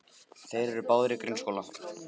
Þeir eru báðir í grunnskóla.